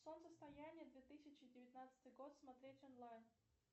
солнцестояние две тысячи девятнадцатый год смотреть онлайн